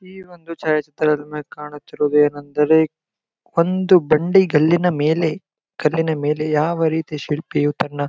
ಈ ಒಂದು ಛಾಯಾ ಚಿತ್ರದಲ್ಲಿ ಕಾಣುತ್ತಿರುವುದು ಏನೆಂದರೆ ಒಂದು ಬಂಡಿ ಗಲ್ಲಿನ ಮೇಲೆ ಗಲ್ಲಿನ ಮೇಲೆ ಯಾವ ರೀತಿಯು ಶಿಲ್ಪಿಯು ತನ್ನ --